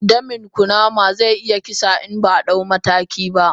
Danin kunama ze iya kisa in baa dau mataki ba.